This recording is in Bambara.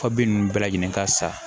Papiye ninnu bɛɛ lajɛlen ka sa